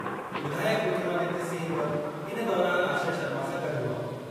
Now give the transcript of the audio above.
विधायकु विक्रमादित्य सिंह बि इन दौरानि आश्रय शर्मा सां गॾु हुआ।